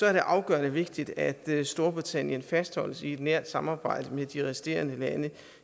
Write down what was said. er det afgørende vigtigt at storbritannien fastholdes i et nært samarbejde med de resterende lande